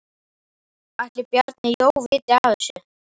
Ætli Bjarni Jó vita af þessu?